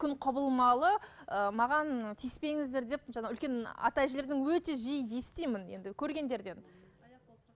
күн құбылмалы ы маған тиіспеңіздер деп жаңағы үлкен ата әжелерден өте жиі естимін енді көргендерден